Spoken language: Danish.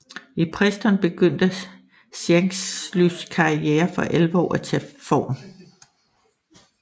I Preston begyndte Shanklys karriere for alvor at tage form